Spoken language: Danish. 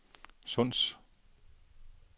Sunds